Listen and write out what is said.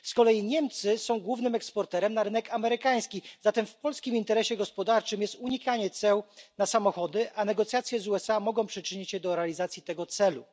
Z kolei Niemcy są głównym eksporterem na rynek amerykański, zatem w polskim interesie gospodarczym jest unikanie ceł na samochody, a negocjacje z USA mogą przyczynić się do realizacji tego celu.